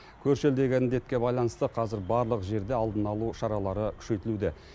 көрші елдегі індетке байланысты қазір барлық жерде алдын алу шаралары күшейтілуде